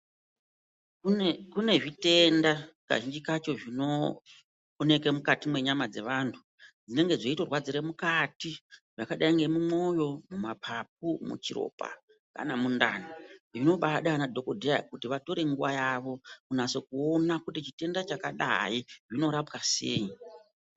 Kune zvitenda kazhinji kacho zvinooneke mukati mwenyama dzevantu. Zvinenge dzeitorwadzire mukati zvakadai ngemumwoyo, mapapu, muchiropa kana mundani. Zvinobaade anadhogodheya kuti vatore nguva yavo kunyatse kuona kuti chitenda chakadai zvinorapwa sei.